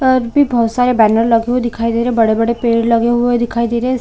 --और अभी बहुत सारे बैनर लगे हुए दिखाई दे रहे है बड़े-बड़े पेड़ लगे हुए दिखाई दे रहे है।